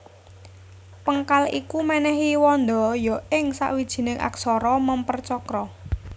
Péngkal iku mènèhi wanda ya ing sawijining aksara mèmper cakra